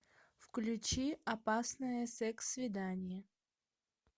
включи опасное секс свидание